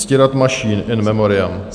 Ctirad Mašín, in memoriam.